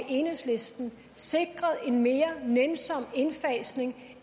enhedslisten sikret en mere nænsom indfasning